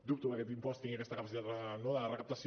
dubto que aquest impost tingui aquesta capacitat no de recaptació